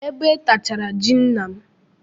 Ebe tachara ji nna m.